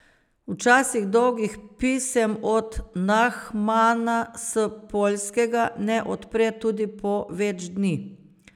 Včasih dolgih pisem od Nahmana s Poljskega ne odpre tudi po več dni.